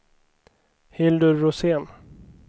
Hildur Rosén